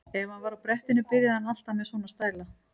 Ef hann var á brettinu byrjaði hann alltaf með svona stæla.